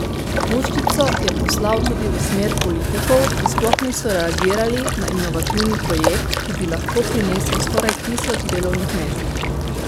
Puščico je poslal tudi v smer politikov, ki sploh niso reagirali na inovativni projekt, ki bi lahko prinesel skoraj tisoč delovnih mest.